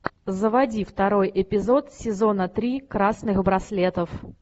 заводи второй эпизод сезона три красных браслетов